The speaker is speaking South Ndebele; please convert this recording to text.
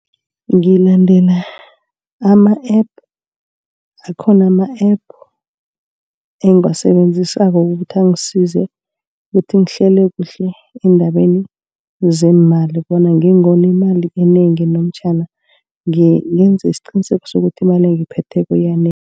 Ngilandela ama-app, akhona ama-app engiwasebenzisako. Ukuthi angisize ukuthi ngihlele kuhle endabeni zemali bona ngingoni imali enengi, namtjhana ngenze isiqiniseko sokuthi imali engiyiphetheko yanele.